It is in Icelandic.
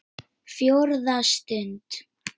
FJÓRÐA STUND